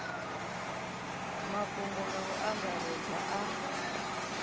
mafhungo nga u angaredza a